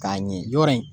K'a ɲɛ yɔrɔ in